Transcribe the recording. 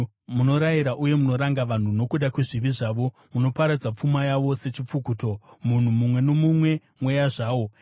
Munorayira uye munoranga vanhu nokuda kwezvivi zvavo, munoparadza pfuma yavo sechipfukuto, munhu mumwe nomumwe mweya zvawo. Sera